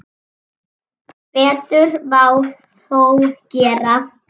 Betur má þó gera.